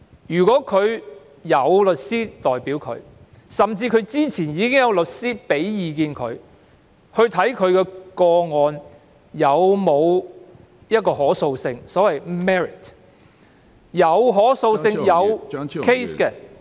如果他們有律師代表，甚至之前已徵詢律師意見，檢視其個案是否具可訴性，即所謂 merit， 如具可訴性及有 case 的話......